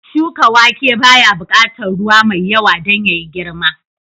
Shuka wake baya buƙatar ruwa mai yawa don yayi girma